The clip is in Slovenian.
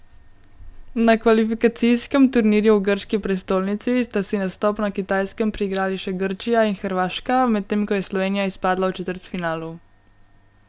Na kvalifikacijskem turnirju v grški prestolnici sta si nastop na Kitajskem priigrali še Grčija in Hrvaška, medtem ko je Slovenija izpadla v četrtfinalu.